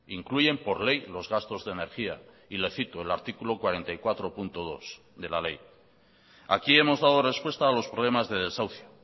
incluyen por ley los gastos de energía y le cito el artículo cuarenta y cuatro punto dos de la ley aquí hemos dado respuesta a los problemas de desahucio